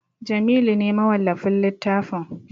Jamilu ne mawallafin littafin